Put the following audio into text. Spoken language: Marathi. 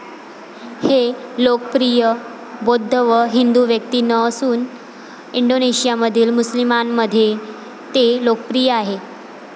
हे लोकप्रिय बौद्ध व हिंदू व्यक्तीनं असून इंडोनेशियामधील मुस्लिमांमध्येही ते लोकप्रिय आहे.